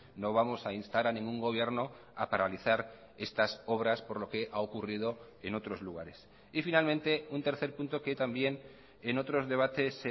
no vamos a instar a ningún gobierno a paralizar estas obras por lo que ha ocurrido en otros lugares y finalmente un tercer punto que también en otros debates